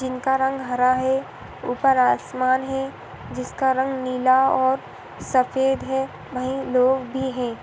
जिनका रंग हरा है ऊपर आसमान है जिसका रंग नीला और सफ़ेद है वहीं लोग भी हैं।